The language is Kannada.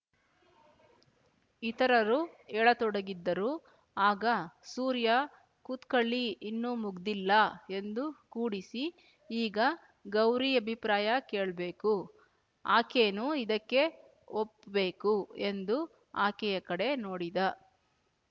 ಇತರರೂ ಏಳತೊಡಗಿದ್ದರು ಆಗ ಸೂರ್ಯ ಕೂತ್ಕಳ್ಳಿ ಇನ್ನೂ ಮುಗ್ದಿಲ್ಲ ಎಂದು ಕೂಡಿಸಿ ಈಗ ಗೌರಿ ಅಭಿಪ್ರಾಯ ಕೇಳ್ಬೇಕು ಆಕೇನೂ ಇದಕ್ಕೆ ಒಪ್‍ಬೇಕು ಎಂದು ಆಕೆಯ ಕಡೆ ನೋಡಿದ